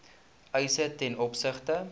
eise ten opsigte